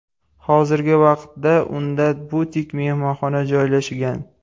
Hozirgi vaqtda unda butik-mehmonxona joylashgan.